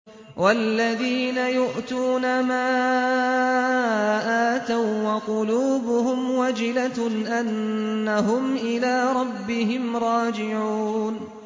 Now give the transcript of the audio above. وَالَّذِينَ يُؤْتُونَ مَا آتَوا وَّقُلُوبُهُمْ وَجِلَةٌ أَنَّهُمْ إِلَىٰ رَبِّهِمْ رَاجِعُونَ